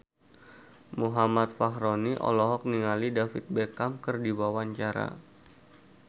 Muhammad Fachroni olohok ningali David Beckham keur diwawancara